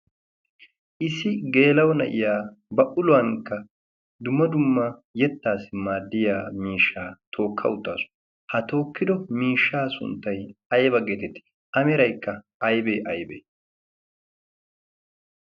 Issi geelau na'iya ba uluwankka duma dumma yettaassi maaddiya miishshaa tookka uttaasu. ha tookkido miishshaa sunttay ayba geeteti a meraykka aybee aybee?